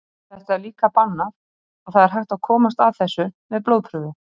Þetta er líka bannað og það er hægt að komast að þessu með blóðprufu.